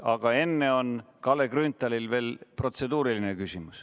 Aga enne on Kalle Grünthalil veel protseduuriline küsimus.